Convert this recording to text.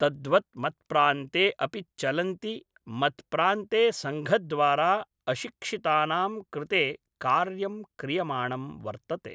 तद्वत् मत्प्रान्ते अपि चलन्ति मत्प्रान्ते सङ्घद्वारा अशिक्षितानां कृते कार्यं क्रियमाणं वर्तते